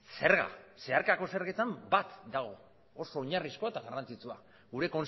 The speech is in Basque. zerga zeharkako zergetan bat dago oso oinarrizkoa eta garrantzitsua gure